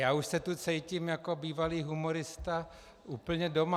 Já už se tady cítím jako bývalý humorista úplně doma.